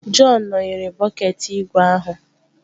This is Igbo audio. Jọn nọnyeere bọket ígwè ahụ